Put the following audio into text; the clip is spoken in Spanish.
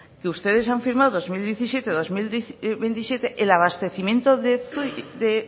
que ustedes han firmado dos mil diecisiete dos mil veintisiete el abastecimiento de